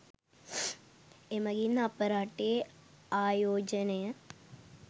එමගින් අප රටේ ආයෝජනය